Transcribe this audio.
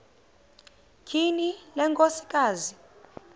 tyhini le nkosikazi